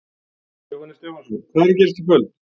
Jóhannes Stefánsson: Hvað er að gerast í kvöld?